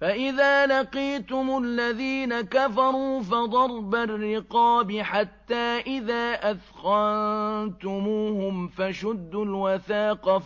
فَإِذَا لَقِيتُمُ الَّذِينَ كَفَرُوا فَضَرْبَ الرِّقَابِ حَتَّىٰ إِذَا أَثْخَنتُمُوهُمْ فَشُدُّوا الْوَثَاقَ